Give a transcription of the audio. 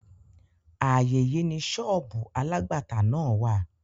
Ààyè yí ni sọ́ọ̀bù alágbàtà náà wà.